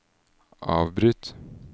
avbryt